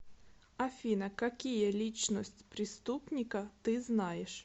афина какие личность преступника ты знаешь